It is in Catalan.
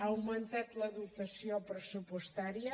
ha augmentat la dotació pressupostària